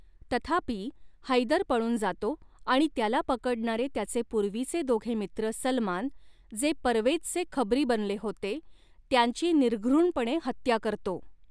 तथापि, हैदर पळून जातो आणि त्याला पकडणारे त्याचे पूर्वीचे दोघे मित्र सलमान, जे परवेजचे खबरी बनले होते, त्यांची निर्घृणपणे हत्या करतो.